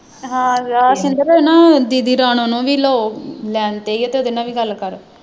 ਹਾਂ ਹਾਂ ਆ ਸ਼ਿੰਦਰ ਇਹ ਨਾ ਦੀਦੀ ਰਾਣੋ ਨੂੰ ਵੀ ਲਓ line ਤੇ ਇਹਦੇ ਨਾਲ ਵੀ ਗੱਲ ਕਰ